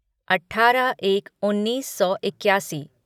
अठारह एक उन्नीस सौ इक्यासी